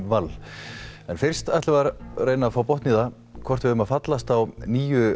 Wall en fyrst ætlum við að reyna að fá botn í það hvort við eigum að fallast á nýju